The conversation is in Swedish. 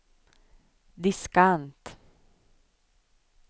diskant